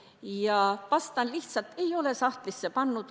Kuna aeg on läbi, vastan lihtsalt: ei ole sahtlisse pannud.